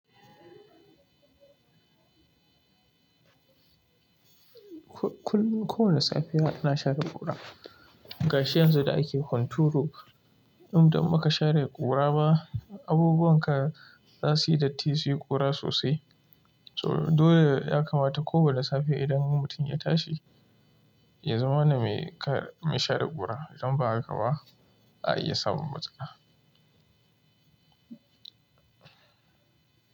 Ko-ko-kowani safiya ana share ƙura. Gashi yanzu da ake hunturu, idan ba ka share ƙura ba, abubuwan ka za suyi datti, suyi ƙura sosai. To dole ya kamata kowane safe idan mutum ya tashi, ya zama wanda mai kar, mai share ƙura. Idan ba haka ba, a iya samun matsala.